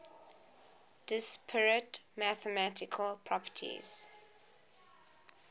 disparate mathematical properties